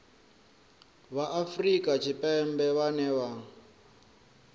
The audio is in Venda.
vha afrika tshipembe vhane vha